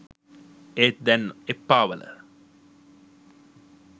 ඒත් දැන් එප්පාවල